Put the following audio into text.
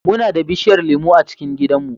Muna da bishiyar lemu a cikin gidanmu.